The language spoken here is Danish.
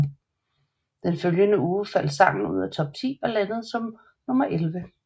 Den følgende uge faldt sangen ud af Top 10 og landede som nummer elleve